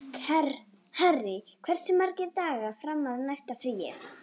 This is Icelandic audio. Harry, hversu margir dagar fram að næsta fríi?